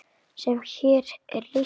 sem hér er lýst?